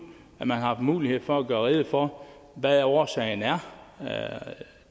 at man har mulighed for at gøre rede for hvad årsagen er